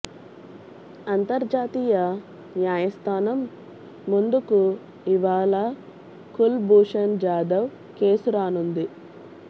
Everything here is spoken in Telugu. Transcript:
అంతర్జాతీయ న్యాయస్థానం ముందుకు ఇవాళ కుల్ భూషణ్ జాదవ్ కేసు రానుంది